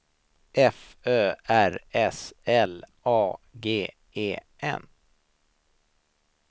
F Ö R S L A G E N